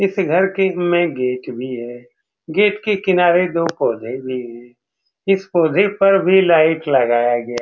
इस घर के में गेट भी है गेट के किनारे दो कोनें भी हैं इस कोने पर भी लाइट लगाया गया --